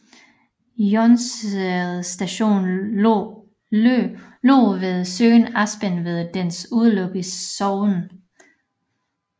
Jonsereds station lå ved søen Aspen ved dens udløb i Säveån